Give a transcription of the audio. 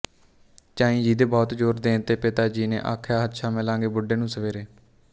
ਝਾਈ ਜੀ ਦੇ ਬਹੁਤ ਜ਼ੋਰ ਦੇਣ ਤੇ ਪਿਤਾ ਜੀ ਨੇ ਆਖਿਆਹੱਛਾ ਮਿਲਾਂਗੇ ਬੁੱਢੇ ਨੂੰ ਸਵੇਰੇ